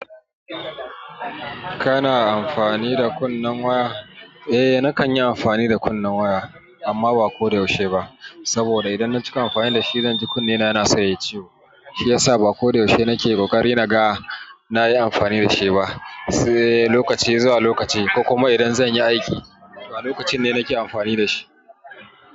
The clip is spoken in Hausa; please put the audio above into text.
Kana amfani da kunnen waya? Eh eh, nakan yi amfani da kunnen waya amma ba ko da yaushe ba. Saboda idan na cika amfani da shi zan ji kunne na yana san yai ciwo. Shi ya sa ba ko da yaushe nake. Ƙoƙari na ga na yi amfani da shi ba. Sai lokaci zuwa lokaci, ko kuma idan zan yi aiki, to a lokacin ne nake amfani da shi.